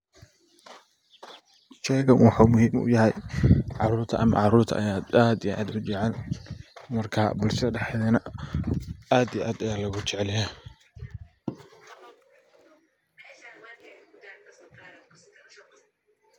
Sheygan wuxu muhim u yahay carurta ayaa aad u jecel marka bulshada dehdedhana aad ayaa logu jecelyahay.